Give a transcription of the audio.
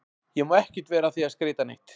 Ég má ekkert vera að því að skreyta neitt.